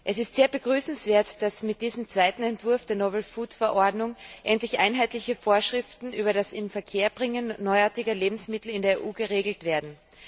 Es ist sehr begrüßenswert, dass mit diesem zweiten Entwurf der Verordnung endlich einheitliche Vorschriften über das Inverkehrbringen neuartiger Lebensmittel in der EU erlassen werden.